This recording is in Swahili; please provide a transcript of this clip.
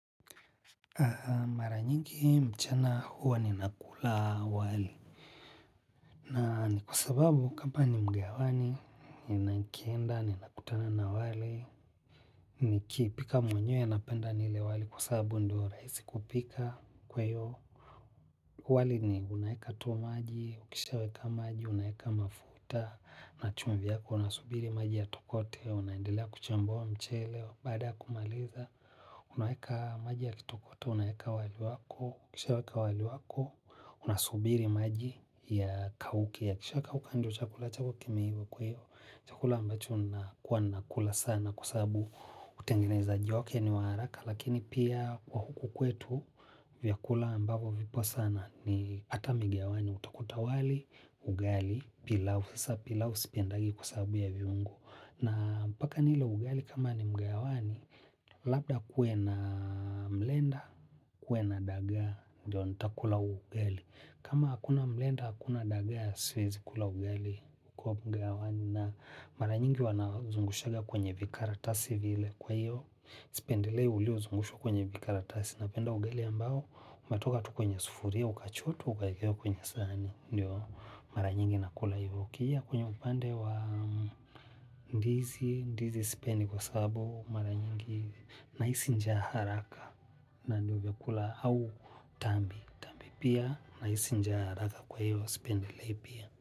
Mara nyingi mchana huwa ni nakula wali. Na ni kwa sababu kama ni mgahawani nanikienda ni nakutana na wali. Ni kipika mwenyewe napenda nile wali kwa sababu ndio rahisi kupika kwa hiyo. Wali ni unayeka tu maji, ukisha weka maji, unayeka mafuta. Na chumvi yako unasubiri maji ya tokote, unaendelea kuchambuwa mchele, baada ya kumaliza. Unaeka maji ya kitokoto, unaeka wali wako, ukisha weka wali wako. Una subiri maji ya kauke ya kisha kauka ndo chakula chako kimeiva kwa hiyo. Chakula ambacho nakuwa nakula sana kwa sababu utengenezaji wake niwaharaka. Lakini pia kwa huku kwetu vyakula ambavo vipo sana ni hata migahawani. Utakuta wali, ugali, pilau, sasa pilau, sipendagi kwa sababu ya viungo. Na mpaka nile ugali kama ni mgahawani, labda kuwe na mlenda, kuwe na dagaa, ndio nita kula ugali. Kama hakuna mlenda, hakuna dagaa, siwezi kula ugali kwa mgahawani na mara nyingi wanazungushaga kwenye vikaratasi vile kwa hiyo. Sipendilei ulio uzungushwa kwenye vikaratasi, napenda ugali ambao, umetoka tu kwenye sufuria, ukachotwa ukaekewa kwenye sahani, ndio mara nyingi nakula hivo. Ikija kwenye upande wa ndizi, ndizi sipendi kwa sababu mara nyingi nahisi njaa haraka na ndo vyakula au tambi tambi pia nahisi njaa haraka kwa hiyo sipendelei pia.